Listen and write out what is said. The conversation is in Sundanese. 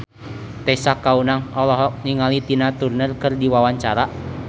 Tessa Kaunang olohok ningali Tina Turner keur diwawancara